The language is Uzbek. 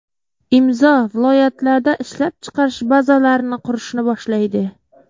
Imzo viloyatlarda ishlab chiqarish bazalarini qurishni boshlaydi.